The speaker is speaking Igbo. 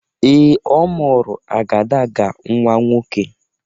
Ee, ọ mụrụ agadaga nnwa nwoke.